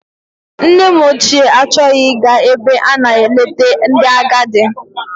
Nne m ochie achọghị ịga ebe a na-eleta ndị agadi.